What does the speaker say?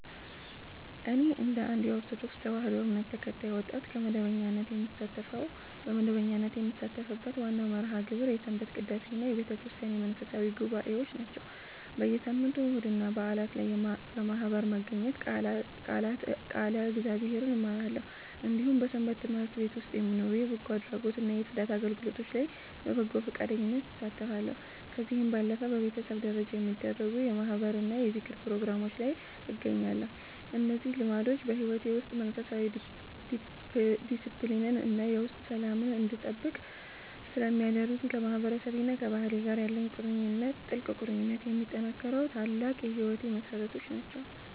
እኔ እንደ አንድ የኦርቶዶክስ ተዋሕዶ እምነት ተከታይ ወጣት፣ በመደበኛነት የምሳተፍበት ዋናው መርሃ ግብር የሰንበት ቅዳሴና የቤተክርስቲያን መንፈሳዊ ጉባኤዎች ናቸው። በየሳምንቱ እሁድና በዓላት ላይ በማኅበር በመገኘት ቃለ እግዚአብሔርን እማራለሁ፤ እንዲሁም በሰንበት ትምህርት ቤት ውስጥ በሚኖሩ የበጎ አድራጎትና የጽዳት አገልግሎቶች ላይ በበጎ ፈቃደኝነት እሳተፋለሁ። ከዚህ ባለፈም በቤተሰብ ደረጃ በሚደረጉ የማኅበርና የዝክር ፕሮግራሞች ላይ እገኛለሁ። እነዚህ ልምዶች በሕይወቴ ውስጥ መንፈሳዊ ዲስፕሊንን እና የውስጥ ሰላምን እንድጠብቅ ስለሚያደርጉኝ፣ ከማህበረሰቤና ከባህሌ ጋር ያለኝን ጥልቅ ቁርኝት የሚያጠናክሩ ታላቅ የሕይወቴ መሠረቶች ናቸው።